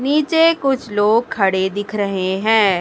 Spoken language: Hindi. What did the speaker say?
नीचे कुछ लोग खड़े दिख रहे हैं।